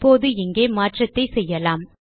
இப்போது இங்கே மாற்றத்தை செய்யலாம்